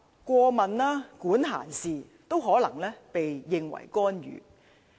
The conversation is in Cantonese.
過問、管閒事，都可能被認為是干預。